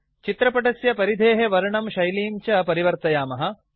चित्रपटस्य परिधेः वर्णं शैलीं च परिवर्तयामः